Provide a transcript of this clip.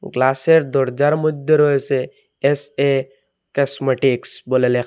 গ্লাসের দরজার মইধ্যে রয়েছে এস_এ কাসমেটিক্স বলে লেখা।